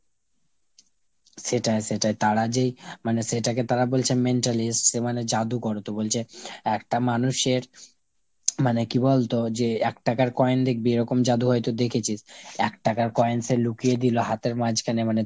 সেটাই সেটাই। তারা যেই মানে সেটাকে তারা বলছে mentalist, সে মানে জাদুগর। তো বলছে একটা মানুষের মানে কি বলতো যে এক টাকার coin দেখবি এরকম জাদু হয়তো দেখেছিস। এক টাকার coin সে লুকিয়ে দিলো হাতের মাঝখানে মানে,